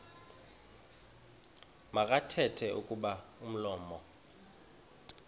makathethe kuba umlomo